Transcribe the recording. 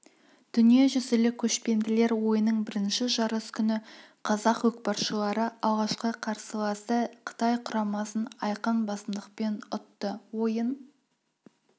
дүниежүзілік көшпенділер ойының бірінші жарыс күні қазақ көкпаршылары алғашқы қарсыласы қытай құрамасын айқын басымдықпен ұтты ойын